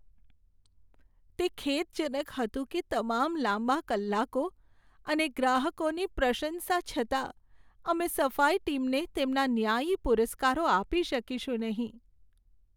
તે ખેદજનક હતું કે તમામ લાંબા કલાકો અને ગ્રાહકોની પ્રશંસા છતાં, અમે સફાઈ ટીમને તેમના ન્યાયી પુરસ્કારો આપી શકીશું નહીં.